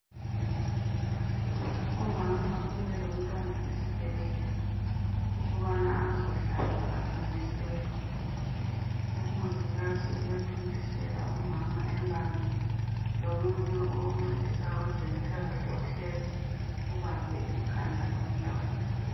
Umama ubuye lomntwana esibhedlela ukubana azohlatshwa athontiselwe umongikazi uyathontisela umama embambile lomunye oncedisa kwezempilakahle uhlezi ubambe ikhanda lomntwana.